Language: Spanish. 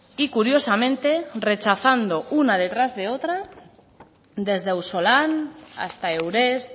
y curiosamente rechazando una detrás de otra desde ausolan hasta eurest